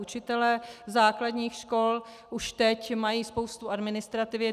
Učitelé základních škol už teď mají spoustu administrativy.